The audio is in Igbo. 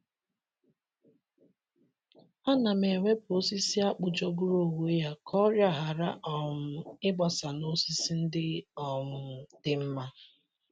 Ana m ewepụ osisi akpụ jọgburu onwe ya ka ọrịa ghara um ịgbasa n’osisi ndị um dị mma.